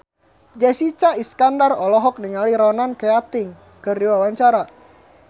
Jessica Iskandar olohok ningali Ronan Keating keur diwawancara